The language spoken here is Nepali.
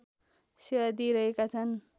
सेवा दिइरहेका छन्